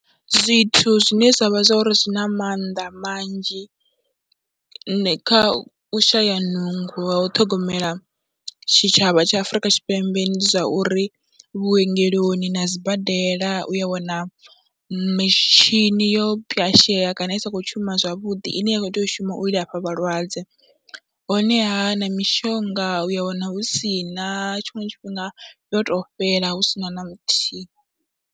Zwithu zwine zwa vha zwa uri zwi na maanḓa manzhi kha u shaya nungo ha u ṱhogomela tshitshavha tsha Afrika Tshipembe ndi zwa uri, vhuongeloni na sibadela u a wana mitshini yo pwyashea kana i sa khou shuma zwavhuḓi ine ya khou tea u shuma u i lafha vhalwadze, honeha na mishonga u ya wana hu si na tshiṅwe tshifhinga yo tou fhela hu si na na muthihi.